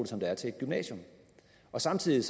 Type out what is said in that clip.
som der er til et gymnasium samtidig